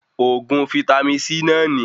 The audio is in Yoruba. Oògùn vítámì C náà ní